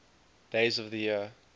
days of the year